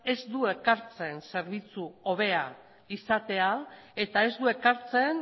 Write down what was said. ez du ekartzen zerbitzu hobea izatea eta ez du ekartzen